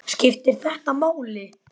Skiptir þetta máli??